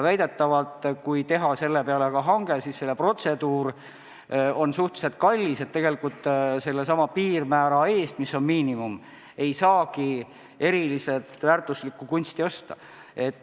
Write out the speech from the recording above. Väidetavalt on nii, et kui teha selle põhjal hange, on protseduur ise suhteliselt kallis ja tegelikult sellesama piirmäära eest, mis on miinimum, ei saagi eriliselt väärtuslikku kunsti osta.